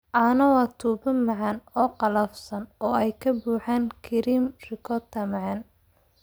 Cannoli waa tubo macmacaan oo qallafsan oo ay ka buuxaan kareem ricotta macaan.